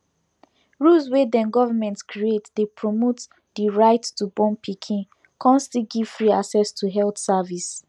rules wey dem government create dey promote the right to born pikin con still give free access to health service